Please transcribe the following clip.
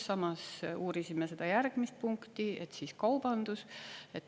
Samas uurisime seda järgmist punkti, et siis kaubandus …